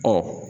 Ɔ